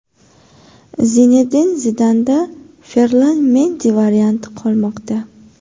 Zinedin Zidanda Ferlan Mendi varianti qolmoqda.